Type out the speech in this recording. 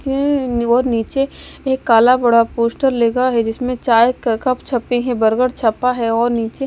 और नीचे एक काला बड़ा पोस्टर लगा है जिसमें चाय का कप छपे हैं बर्गर छपा है और नीचे--